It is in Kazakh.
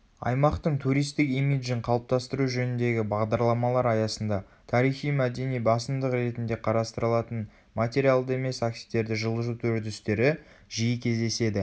аймақтың туристік имиджін қалыптастыру жөніндегі бағдарламалар аясында тарихи-мәдени басымдық ретінде қарастырылатын материалды емес активтерді жылжыту үрдістеры жиі кездеседі